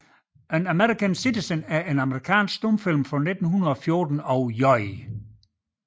An American Citizen er en amerikansk stumfilm fra 1914 af J